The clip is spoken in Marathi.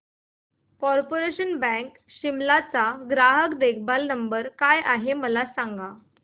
कार्पोरेशन बँक शिमला चा ग्राहक देखभाल नंबर काय आहे मला सांग